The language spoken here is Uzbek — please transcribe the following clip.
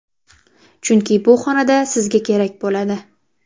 Chunki bu xonada sizga kerak bo‘ladi.